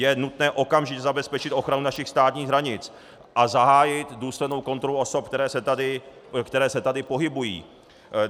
Je nutné okamžitě zabezpečit ochranu našich státních hranic a zahájit důslednou kontrolu osob, které se tady pohybují.